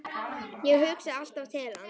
Ég hugsa alltaf til hans.